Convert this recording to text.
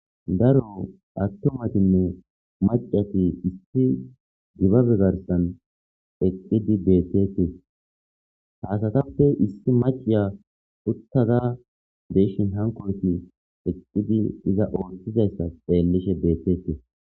daro attomatinne macati issi gibabegarsan eqidi beetetis ha asatappe issi maciya uttada be'eshin hankoyti eqidi iza ooththizayssa xeellishe beetetes